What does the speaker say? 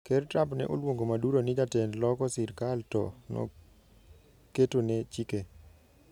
Ker Trump ne oluongo Maduro ni jatend loko sirikal to noketone chike.